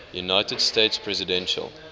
united states presidential